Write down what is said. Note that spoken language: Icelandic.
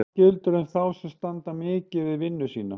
Það sama gildir um þá sem standa mikið við vinnu sína.